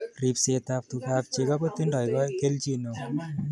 Ribsetab tugab cheko ko tindoi kelchin neo